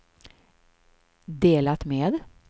delat med